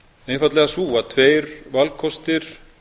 einfaldlega sú að tveir valkostir